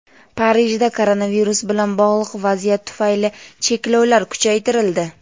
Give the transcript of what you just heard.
Parijda koronavirus bilan bog‘liq vaziyat tufayli cheklovlar kuchaytirildi.